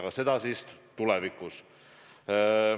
Aga seda alles tulevikus.